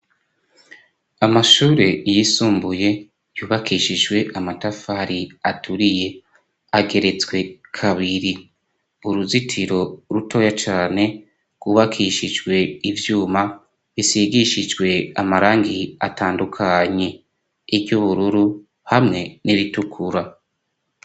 Amashure yisumbuye yubakishijwe amatafari aturiye, ageretswe kabiri, uruzitiro rutoya cane rwubakishijwe ivyuma, bisigishijwe amarangi atandukanye iry'ubururu hamwe n'iritukura.